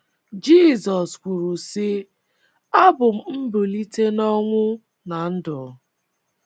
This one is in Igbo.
Jizọs kwuru, sị: “ Abụ m mbilite n’ọnwụ na ndụ. ”